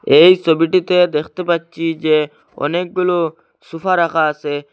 এই ছবিটিতে দেখতে পাচ্চি যে অনেকগুলো সোফা রাখা আসে।